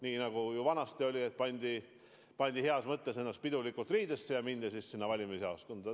Nii nagu vanasti oli, et pandi ennast pidulikult riidesse ja mindi valimisjaoskonda.